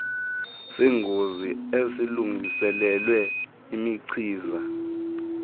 sengozi esilungiselelwe imichiza